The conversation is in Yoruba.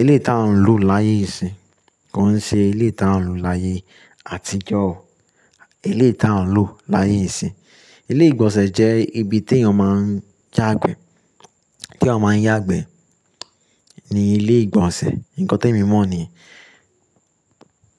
ilé tí a ń lò láyé ìsin. Ko ń ṣe eleyii tí a ń lò láyé àtijọ́, ilé tí a ń lò láyé ìsin. Ilé ìgbọ̀nsẹ̀ jẹ́ ibi tí èèyàn máa ń yá igbẹ, tí eeyan máa ń yágbẹ́ ni ilé ìgbọ̀nsẹ̀. Ǹkan tí èmi mọ̀ niyen.